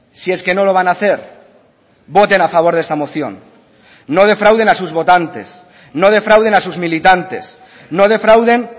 si es que no lo van a hacer voten a favor de esta moción no defrauden a sus votantes no defrauden a sus militantes no defrauden